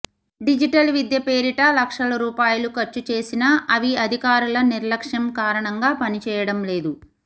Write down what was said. digital విద్య పేరిట లక్షల రూపాయలు ఖర్చు చేసినా అవిఅధికారుల నిర్లక్ష్యంకారణంగా పనిచేయడంలేదు